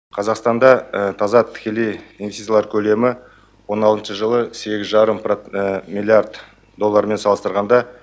қазақстанда таза тікелей инвестициялар көлемі он алтыншы жылы сегіз жарым миллиард доллармен салыстырғанда